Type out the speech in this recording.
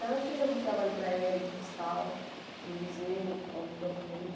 Então eu fiz alguns trabalhos para ela de restauro no museu, alguns documentos.